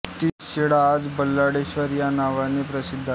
तीच शिळा आज बल्लाळेश्वर या नावाने प्रसिद्ध आहे